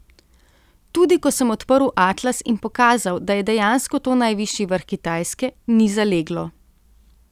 Tudi ko sem odprl atlas in pokazal, da je dejansko to najvišji vrh Kitajske, ni zaleglo.